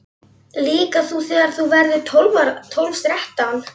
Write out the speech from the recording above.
Líka þú þegar þú verður tólf, þrettán.